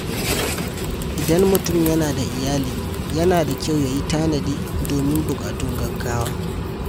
Idan mutum yana da iyali, yana da kyau ya yi tanadi domin buƙatun gaugawa.